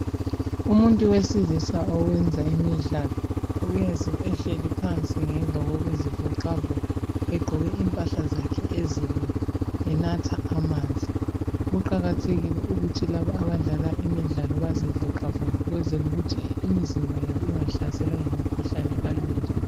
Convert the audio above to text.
Umuntu wesilisa owenza imidlalo uyenza ehleli phansi ngemva kokuzivoxavoxa egqoke impahla zakhe ezilula enatha amanzi. Kuqakathekile ukuthi labo abadlala imidlalo bazivoxavoxe ukwenzela ukuthi imizimba yabo ingahlaselwa yimikhuhlane kalula.